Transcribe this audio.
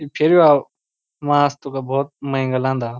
ये फेरी वालू वास्तु का बहौत मेंगा लांदा।